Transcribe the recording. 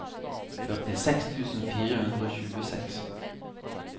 førtiseks tusen fire hundre og tjueseks